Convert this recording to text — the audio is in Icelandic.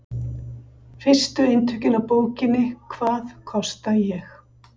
Fyrstu eintökin af bókinni Hvað kosta ég?